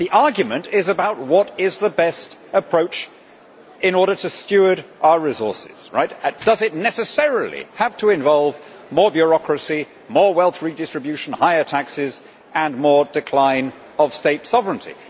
The argument is about what is the best approach in order to steward our resources does it necessarily have to involve more bureaucracy, more wealth redistribution, higher taxes and more decline of state sovereignty?